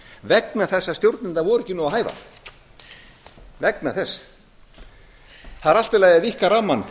vegna þess að stjórnirnar voru ekki nógu hæfar það er allt í lagi að víkka rammann